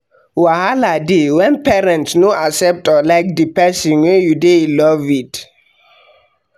wahala de when parents no accept or like di persin wey you de in Love with